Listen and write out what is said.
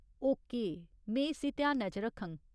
Okay, में इस्सी ध्यानै च रक्खङ।